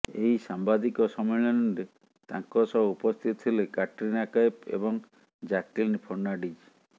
ଏହି ସାମ୍ବାଦିକ ସମ୍ମିଳନୀରେ ତାଙ୍କ ସହ ଉପସ୍ଥିତ ଥିଲେ କ୍ୟାଟ୍ରିନା କୈଫ୍ ଏବଂ ଜାକ୍ଲିନ୍ ଫର୍ଣ୍ଣାଡ଼ିଜ୍